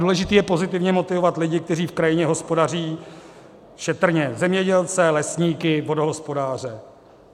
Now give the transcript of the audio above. Důležité je pozitivně motivovat lidi, kteří v krajině hospodaří šetrně - zemědělce, lesníky, vodohospodáře.